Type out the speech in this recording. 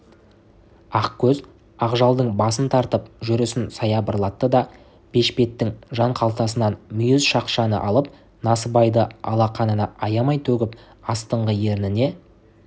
ақкөз ақжалдың басын тартып жүрісін саябырлатты да бешпетінің жанқалтасынан мүйіз шақшаны алып насыбайды алақанына аямай төгіп астыңғы ерніне